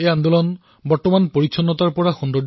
এই আন্দোলনে এতিয়া স্বচ্ছতাৰ পৰা সৌন্দৰ্যতালৈ গতি কৰিছে